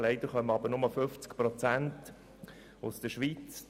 Leider kommen aber nur 50 Prozent aus der Schweiz;